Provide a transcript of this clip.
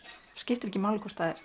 skiptir ekki máli hvort það er